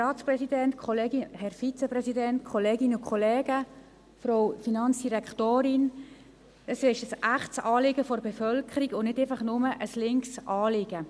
Es ist ein echtes Anliegen der Bevölkerung und nicht einfach ein «linkes» Anliegen.